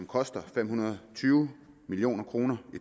koste fem hundrede og tyve million kroner og